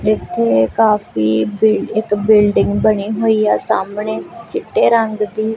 ਇੱਥੇ ਕਾਫੀ ਬਿਲਡ ਇੱਕ ਬਿਲਡਿੰਗ ਬਣੀ ਹੋਈ ਹੈ ਸਾਹਮਣੇ ਚਿੱਟੇ ਰੰਗ ਦੀ।